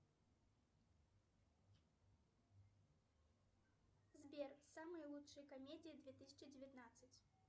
салют мне нужно оплатить школы сургута